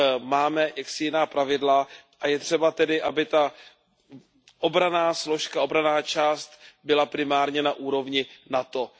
Máme jaksi jiná pravidla a je třeba tedy, aby ta obranná složka, obranná část byla primárně na úrovni NATO.